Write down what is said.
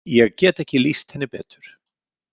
Ég get ekki lýst henni betur.